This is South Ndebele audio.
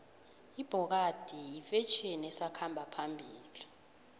ibhokadi yifetjheni esakhamba phambili